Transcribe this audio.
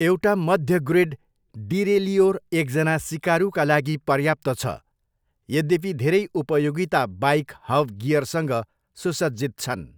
एउटा मध्य grade derailleur एकजना सिकारुका लागि पर्याप्त छ, यद्यपि धेरै उपयोगिता बाइक हब गियरसँग सुसज्जित छन्।